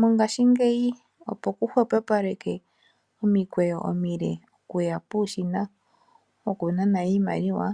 Mongashingeyi opo kuhwepopalekwe omiikweyo omile okuya puushina wokunana iimaliwa,